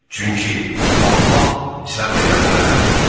Çünki Allah səbr edənlərlədir.